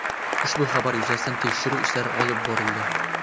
Ushbu xabar yuzasidan tekshiruv ishlari olib borildi.